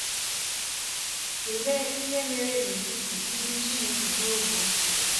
Tụlee ihe mere n’etiti ndị Chineke n’oge ochie.